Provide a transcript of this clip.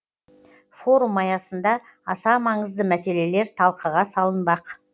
форум аясында аса маңызды мәселелер талқыға салынбақ